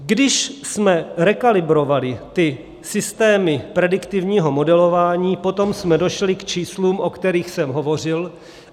Když jsme rekalibrovali ty systémy prediktivního modelování, potom jsme došli k číslům, o kterých jsem hovořil.